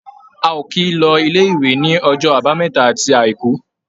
A ò kì í lọ ilé-ìwé ní ọjọ́ Àbámẹ́ta àti Àìkú.